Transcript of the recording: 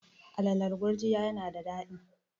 alalan gurjiya yana da dadi